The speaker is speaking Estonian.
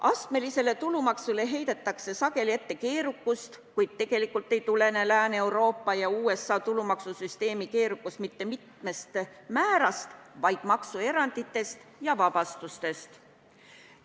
Astmelisele tulumaksule heidetakse sageli ette keerukust, kuid tegelikult ei tulene Lääne-Euroopa ja USA tulumaksusüsteemi keerukus mitte mitmest määrast, vaid maksueranditest ja -vabastustest.